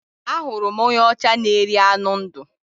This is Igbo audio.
Ahụrụ m onye ọcha na-eri anụ ndụ